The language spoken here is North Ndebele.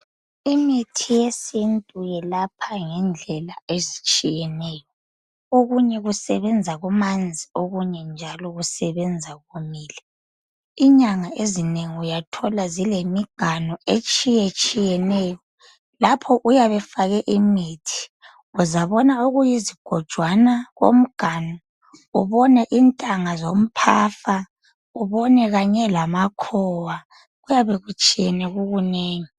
imithi yesintu yelapha ngendlela ezitshiyeneyo okunye kusebenza kumanzi okunye njalo kusebenza komile inyanga ezinengi uyathola zilemiganu etshiyetshiyeneyo lapho uyabe efake imithi uyabona okuyizigojwana komganu ubone intanga zomphafa ubone kanye lamakhowa kuyabe kutshiyene kukunengi